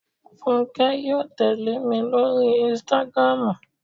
Fúnkẹ́ yóò tẹ́lè mi lórí ísítágírámù